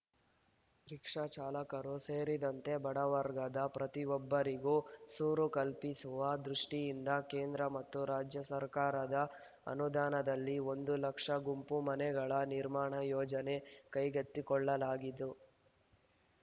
rickshaw ಚಾಲಕರು ಸೇರಿದಂತೆ ಬಡವರ್ಗದ ಪ್ರತಿಯೊಬ್ಬರಿಗೂ ಸೂರು ಕಲ್ಪಿಸುವ ದೃಷ್ಟಿಯಿಂದ ಕೇಂದ್ರ ಮತ್ತು ರಾಜ್ಯ ಸರ್ಕಾರದ ಅನುದಾನದಲ್ಲಿ ಒಂದು ಲಕ್ಷ ಗುಂಪು ಮನೆಗಳ ನಿರ್ಮಾಣ ಯೋಜನೆ ಕೈಗೆತ್ತಿಕೊಳ್ಳಲಾಗಿದ್ದು